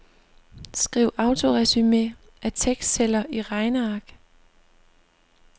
Skriv autoresumé af tekstceller i regneark.